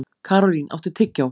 Karólín, áttu tyggjó?